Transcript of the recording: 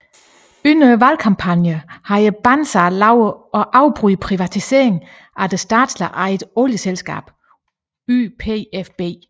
Under valgkampagnen havde Banzer lovet at afbryde privatiseringen af det statsligt ejede olieselskab YPFB